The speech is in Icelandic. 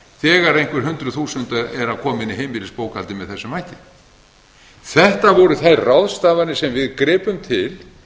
þegar einhver hundruð þúsunda eru að koma inn í heimilisbókhaldið með þessum hætti þetta voru þær ráðstafanir sem við gripum til